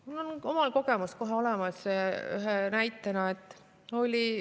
Mul on omalt poolt üks näide tuua.